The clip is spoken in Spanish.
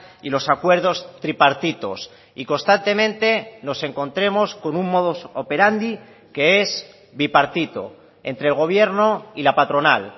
y los acuerdos tripartitos y constantemente nos encontremos con un modus operandi que es bipartito entre el gobierno y la patronal